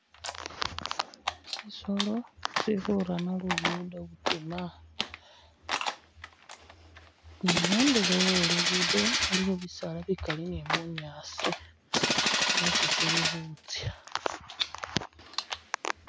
Tsisolo tsifurana lugudo butima ni khundulo khwe lugudo khulikho bisaala bikali ni bunyaasi esi tsili khutsya